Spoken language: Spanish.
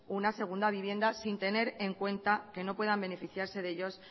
una segunda vivienda sin tener en cuenta que no puedan beneficiarse de ellos